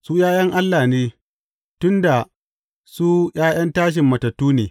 Su ’ya’yan Allah ne, tun da su ’ya’yan tashin matattu ne.